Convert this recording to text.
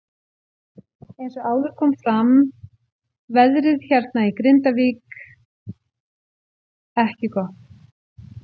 Eins og áður kom fram veðrið hérna í Grindavík ekki gott.